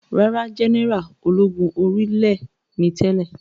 Rárá, jẹ́nẹ́rà ológun orí ilẹ̀ ni tẹ́lẹ̀